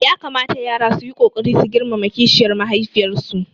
Ya kamata yara su yi ƙoƙari su girmama kishiyar mahaifiyarsu